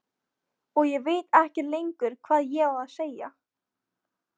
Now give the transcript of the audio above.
Og ég veit ekkert lengur hvað ég á að segja.